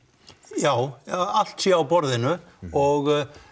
já eða að allt sé á borðinu og